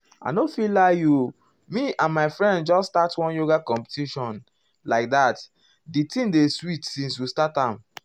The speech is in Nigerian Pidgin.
i nor fit lie you me and my friends just start one yoga competition competition like that di thing dey sweet since we start am.